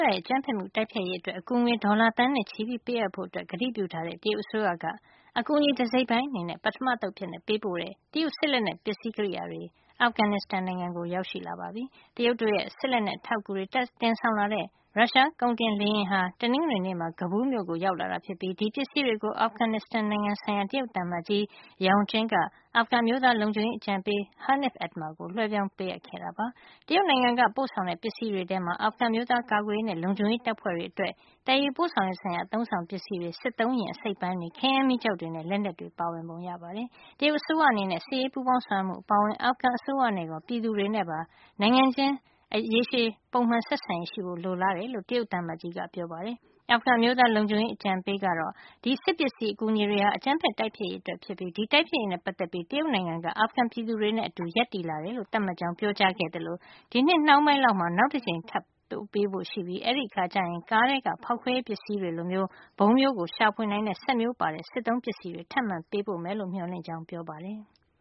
ရဲ့ အကြမ်းဖက်မှုတိုက်ဖျက်ရေးအတွက် အကူငွေ ဒေါ်လာသန်းနဲ့ချီပြီးပေးအပ်ဖို့ ကတိပြုထားတဲ့ တရုတ်အစိုးရက အကူအညီ တစိတ်တပိုင်းအနေနဲ့ ပထမအသုတ်အဖြစ်ပေးပို့တဲ့ တရုတ်စစ်လက်နက် ပစ္စည်းကိရိယာတွေ အာဖဂနစ္စတန်ကို ရောက်ရှိလာပါတယ်။ တရုတ်တို့ရဲ့ စစ်လက်နက်အထောက်အကူတွေတင်ဆောင်လာတဲ့ ရုရှားကုန်တင်လေယာဉ်ဟာ တနင်္ဂနွေနေ့မှာ Kabul မြို့ကို ရောက်လာပြီး ဒီပစ္စည်းတွေကို အာဖဂနစ္စတန်နိုင်ငံဆိုင်ရာ တရုတ်သံအမတ်ကြီး Yao Jing က အာဖဂန်အမျိုးသား လုံခြုံရေးအကြံပေး Hanif Atmar ကို လွှဲပြောင်းပေးအပ်ခဲ့ပါတယ်။ တရုတ်နိုင်ငံက ပို့ဆောင်တဲ့ပစ္စည်းတွေထဲမှာတော့ အာဖဂန်အမျိုးသားကာကွယ်ရေးနဲ့လုံခြုံရေးတပ်ဖွဲ့တွေအတွက် သယ်ယူပို့ဆောင်ရေး ဆိုင်ရာ အသုံးအဆောင်ပစ္စည်းတွေ၊ စစ်သုံးယာဉ် အစိတ်အပိုင်းတွေ၊ ခဲယမ်းမီးကျောက်တွေနဲ့ လက်နက်တွေလည်း ပါဝင်ပုံရပါတယ်။ တရုတ်အစိုးရအနေနဲ့ စစ်ရေးပူးပေါင်းဆောင်ရွက်မှုအပါအဝင် အာဖဂန်အစိုးရနဲ့ရော အာဖဂန်ပြည်သူတွေနဲ့ပါ နိုင်ငံအချင်းချင်း ရေရှည် ပုံမှန် ဆက်ဆံရေးရှိဖို့ လိုလားတယ်လို့လည်း တရုတ်သံအမတ်ကြီး Yao Jing က ပြောဆိုခဲ့ပါတယ်။ အာဖဂန်အမျိုးသား လုံခြုံရေးအကြံပေး Hanif Atmar ကတော့ ဒီစစ်ပစ္စည်းအကူညီတွေဟာ အကြမ်းဖက်တိုက်ဖျက်ရေးအတွက်ဖြစ်ပြီး ဒီတိုက်ဖျက်ရေးနဲ့ ပတ်သက်ပြီး တရုတ်နိုင်ငံက အာဖဂန်ပြည်သူတွေနဲ့အတူ ရပ်တည်လာတယ်လို့သတ်မှတ်ကြောင်းပြောကြားခဲ့သလို ဒီနှစ် နှောင်းပိုင်းလောက်မှာ နောက်တကြိမ်ပို့ပေးဖို့ရှိပြီး အဲဒီအခါကျရင် ကားထဲက ဖေါက်ခွဲရေးပစ္စည်းတွေလိုဗုံးမျိုး ရှာဖွေနိုင်တဲ့စက်မျိုးတွေပါတဲ့ စစ်သုံးပစ္စည်းတွေ ထပ်မံပေးပို့မယ်လို့ မျှော်လင့်ကြောင်း ပြောပါတယ်။